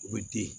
U bɛ den